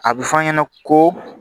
A bɛ fɔ an ɲɛna ko